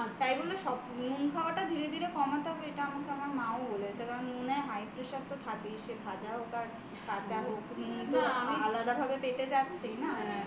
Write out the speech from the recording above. তা বলে নুন খাওয়াটা ধীরে ধীরে কমাতে হবে এটা আমার মাও বলেছে নুনে high pressure তো থাকেই সেটা ভাজা হোক বা কাঁচা হোক নুন তো আলাদাভাবে পেটে যাচ্ছে না